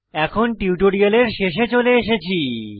এখন টিউটোরিয়ালের শেষে চলে এসেছি